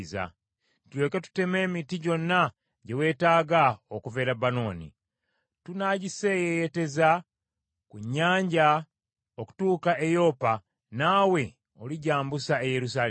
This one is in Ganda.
tulyoke tuteme emiti gyonna gye weetaaga okuva e Lebanooni. Tunaagiseeyeeyeteza ku nnyanja okutuuka e Yopa, naawe oligyambusa e Yerusaalemi.”